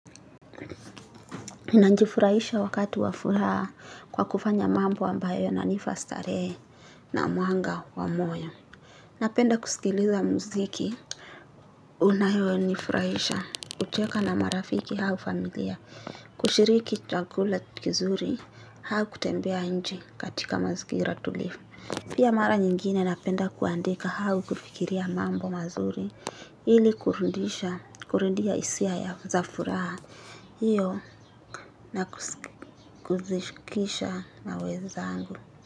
Nina jifurahisha wakati wafuraha kwa kufanya mambo ambayo yananipa starehe na mwanga wa moyo. Napenda kusikiliza mziki. Unayo nifurahisha kucheka na marafiki au familia kushiriki chakula kizuri au kutembea inje katika mazingira tulivu. Pia mara nyingine napenda kuandika au kufikiria mambo mazuri ili kurudisha kurudisha hisia ya za furaha. Iyo na kuzishukisha na wenzangu.